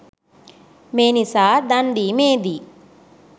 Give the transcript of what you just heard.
මේ නිසා දන් දීමේදී